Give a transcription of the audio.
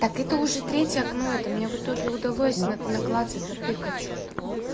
так это уже третье окно это мне в итоге удалось на наклацать натыкать что то